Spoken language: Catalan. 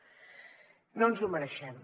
no ens ho mereixem